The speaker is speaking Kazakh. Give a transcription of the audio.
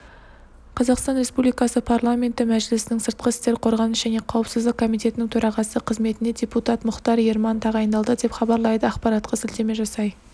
қазақстан республикасы парламенті мәжілісінің сыртқы істер қорғаныс және қауіпсіздік комитетінің төрағасы қызметіне депутат мұхтар ерман тағайындалды деп хабарлайды ақпаратқа сілтеме жасай